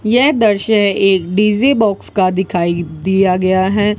यह द्रश्य एक डी_जे बॉक्स का दिखाइ दिया गया हैं।